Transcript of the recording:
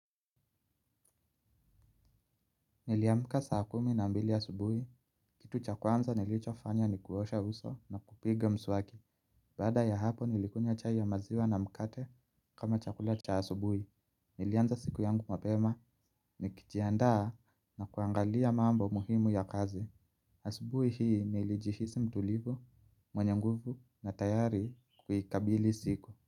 Niliamka saa kumi na mbili asubuhi, kitu cha kwanza nilichofanya ni kuosha uso na kupiga mswaki, baada ya hapo nilikunywa chai ya maziwa na mkate kama chakula cha asubuhi. Nilianza siku yangu mapema nikijiandaa na kuangalia mambo muhimu ya kazi. Asubuhi hii nilijihisi mtulivu, mwenye nguvu na tayari kuikabili siku.